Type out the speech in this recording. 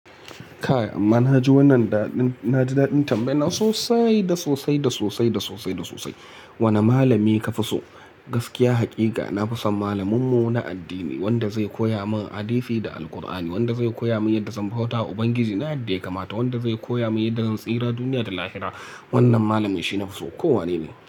Kaya amma na ji wannan daɗin, na ji daɗin tambayanan sosai da sosai da sosai da sosai da sosai. Wane malami ka fi so? Gaskiya haƙiƙa na fi son malaminmu na addini, wanda zai koya min hadisi da Alqur'ani, wanda zai koya mini yadda zan bauta wa Ubangiji na da yake mata, wanda zai koya mini yadda zan tsira duniya da lahira. Wannan malami shi na fi so ko wane ne.